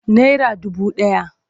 Naira dubu ɗaya.